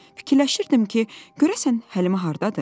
Fikirləşirdim ki, görəsən Həlimə hardadır?